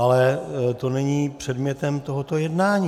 Ale to není předmětem tohoto jednání.